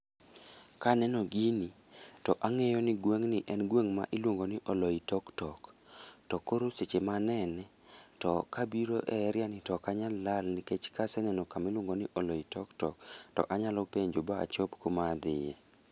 Kaneno gino to ang'eyo ni gweng'ni en gweng' ma iluongo ni Oloitoktok. To koro seche ma anene, to kabiro e eria ni to okanyal lal. Nikech kaseneno kamiluongo ni Olitoktok, to anyalo penjo ma ba achop kuma adhiye.